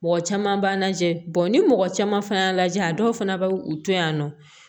Mɔgɔ caman b'a lajɛ ni mɔgɔ caman fana y'a lajɛ a dɔw fana bɛ u to yan nɔ